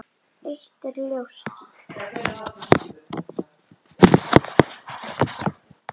Eitt er ljóst.